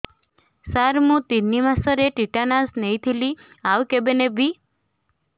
ସାର ମୁ ତିନି ମାସରେ ଟିଟାନସ ନେଇଥିଲି ଆଉ କେବେ ନେବି